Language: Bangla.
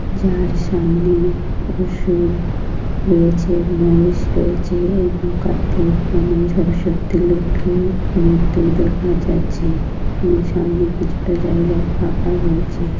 যার সামনে অসুর রয়েছে মহিষ রয়েছে এবং কার্তিক গণেশ সরস্বতী লক্ষী মূর্তি দেখা যাচ্ছে এবং সামনে কিছুটা জায়গা ফাঁকা রয়েছে।